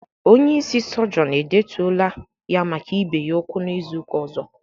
Onye ịsị sọgionu e detuola ya maka ibe ya ukwu n'izuka ozo